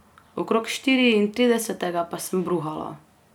Okrog štiriintridesetega pa sem bruhala.